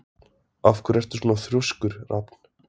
Af hverju ertu svona þrjóskur, Rafn?